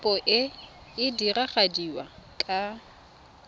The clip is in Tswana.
kopo e e diragadiwa ka